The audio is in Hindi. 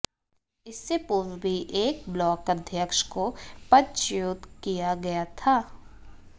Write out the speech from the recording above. इससे पूर्व भी एक ब्लाक अध्यक्ष को पदच्युत किया गया था